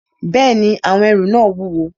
Bẹ́ẹ̀ni, àwọn ẹrù náà wúwo